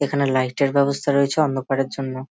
এখানে লাইটের ব্যবস্থা রয়েছে অন্ধকারের জন্য।